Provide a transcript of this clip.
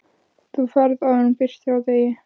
Þú ferð áður en birtir af degi.